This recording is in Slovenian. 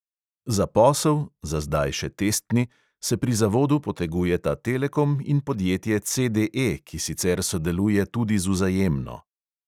Za posel – za zdaj še testni – se pri zavodu potegujeta telekom in podjetje CDE, ki sicer sodeluje tudi z vzajemno.